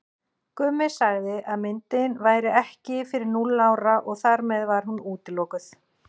Gummi sagði að myndin væri ekki fyrir núll ára og þar með var hún útilokuð.